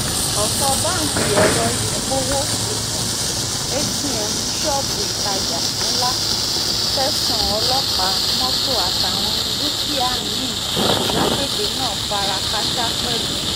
ọ̀pọ̀ báńkì ẹ̀rọ ìpowó atm ṣọ́ọ̀bù ìtajà ńlá tẹ̀sán ọlọ́pàá mọ́tò àtàwọn dúkìá mi-ín lágbègbè náà fara kááṣá pẹ̀lú